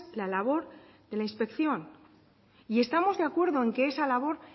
la labor de la inspección y estamos de acuerdo en que esa labor